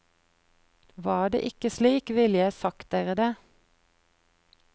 Var det ikke slik, ville jeg sagt dere det.